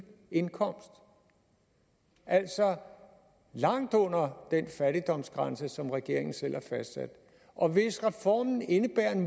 indkomst altså langt under den fattigdomsgrænse som regeringen selv har fastsat og hvis reformen indebærer en